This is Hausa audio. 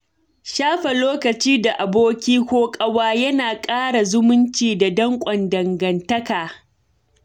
Shafe lokaci da aboki ko ƙawa yana ƙara zumunci da danƙon dagantaka.